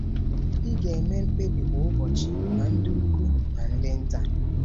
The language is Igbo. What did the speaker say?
Ị ga-eme mkpebi kwa ụbọchị, ma ndị ukwu ma ndị nta.